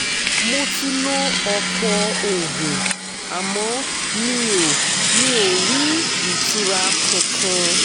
mo ti lo ọ̀pọ̀ oògùn àmọ́ mi ò mi ò rí ìtura kankan